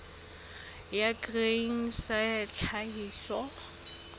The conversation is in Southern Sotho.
ya grain sa ya tlhahiso